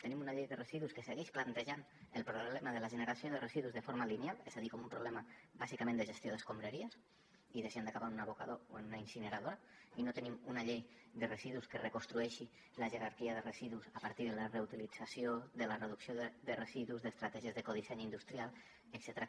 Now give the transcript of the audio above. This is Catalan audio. tenim una llei de residus que segueix plantejant el problema de la generació de residus de forma lineal és a dir com un problema bàsicament de gestió d’escombraries i de si han d’acabar en un abocador o en una incineradora i no tenim una llei de residus que reconstrueixi la jerarquia de residus a partir de la reutilització de la reducció de residus d’estratègies d’ecodisseny industrial etcètera